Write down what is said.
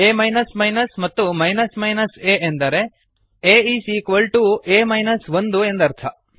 ಆ ಮತ್ತು a ಎಂದರೆ a is equal to a minus ಒಂದು ಎಂದರ್ಥ